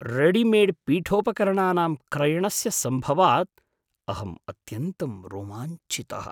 रेडिमेड्पीठोपकरणानां क्रयणस्य सम्भवात् अहं अत्यन्तं रोमाञ्चितः।